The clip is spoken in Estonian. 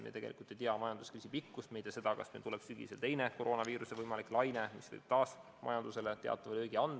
Me tegelikult ei tea majanduskriisi pikkust, me ei tea, kas meil tuleb sügisel teine koroonaviiruse laine, mis võib taas majandusele teatava löögi anda.